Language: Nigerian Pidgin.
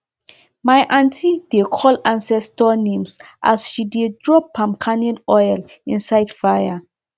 my aunty dey call ancestor names as she dey drop palm kernel oil inside fire